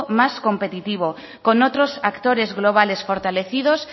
más competitivo con otro actores globales fortalecidos